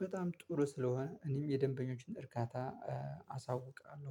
በጣም ጥሩ ስለሆነ እኔም የደንበኞችን እርካታ አሳውቃለሁ